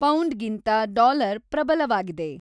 ಪೌಂಡ್ಗಿಂತ dollar ಪ್ರಬಲವಾಗಿದೆ